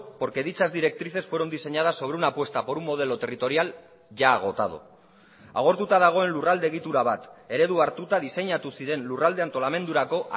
porque dichas directrices fueron diseñadas sobre una apuesta por un modelo territorial ya agotado agortuta dagoen lurralde egitura bat eredu hartuta diseinatu ziren lurralde antolamendurako